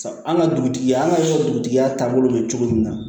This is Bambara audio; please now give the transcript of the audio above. An ka dugutigi an ka dugutigiya taabolo bɛ cogo min na